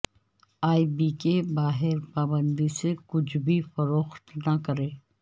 ای بی کے باہر پابندی سے کچھ بھی فروخت نہ کریں